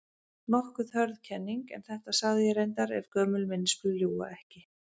Nokkuð hörð kenning, en þetta sagði ég reyndar- ef gömul minnisblöð ljúga ekki.